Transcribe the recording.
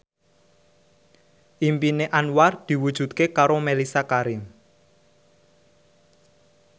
impine Anwar diwujudke karo Mellisa Karim